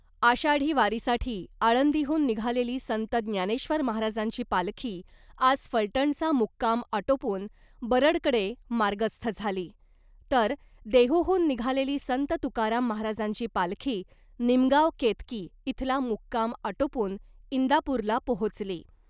आषाढी वारीसाठी आळंदीहून निघालेली संत ज्ञानेश्वर महाराजांची पालखी आज फलटणचा मुक्काम आटोपून बरडकडं मार्गस्थ झाली , तर देहूहून निघालेली संत तुकाराम महाराजांची पालखी निमगाव केतकी इथला मुक्काम आटोपून इंदापूरला पोहोचली .